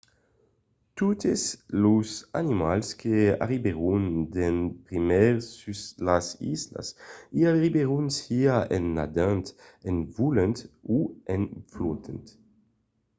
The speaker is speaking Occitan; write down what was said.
totes los animals que arribèron d'en primièr sus las islas i arribèron siá en nadant en volant o en flotant